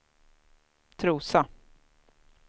Trosa